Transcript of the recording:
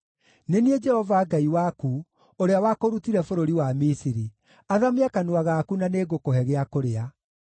Nĩ niĩ Jehova Ngai waku, ũrĩa wakũrutire bũrũri wa Misiri. Athamia kanua gaku na nĩngũkũhe gĩa kũrĩa.